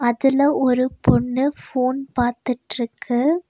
அதுல ஒரு பொண்ணு போன் பாத்துட்ருக்கு.